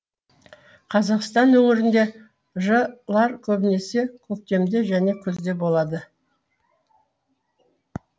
қазақстан өңірінде ж лар көбінесе көктемде және күзде болады